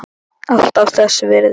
Alltaf þess virði.